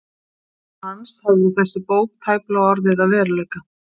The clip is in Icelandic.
Án hans hefði þessi bók tæplega orðið að veruleika.